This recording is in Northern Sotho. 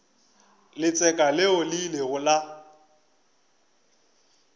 letseka leo le ilego la